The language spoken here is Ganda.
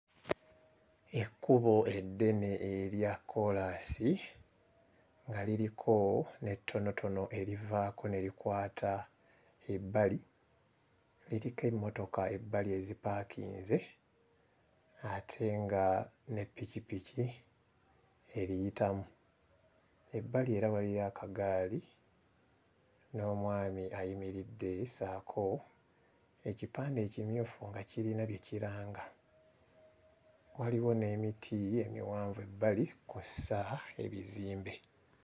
Ekkubo eddene erya kkoolaasi nga liriko n'ettonotono erivaako ne likwata ebbali, liriko emmotoka ebbali ezipaakinze ate nga ne ppikippiki eriyitamu. Ebbali era waliyo akagaali n'omwami ayimiridde ssaako ekipande ekimyufu nga kirina bye kiranga waliwo n'emiti emiwanvu ebbali kw'ossa ebizimbe.